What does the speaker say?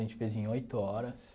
A gente fez em oito horas.